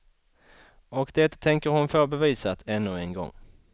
Och det tänker hon få bevisat ännu en gång.